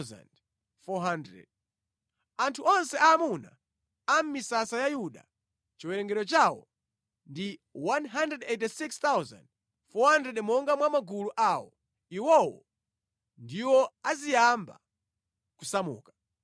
Anthu onse aamuna mʼmisasa ya Yuda, chiwerengero chawo ndi 186,400 monga mwa magulu awo. Iwowo ndiwo aziyamba kusamuka.